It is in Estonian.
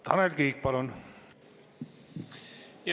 Tanel Kiik, palun!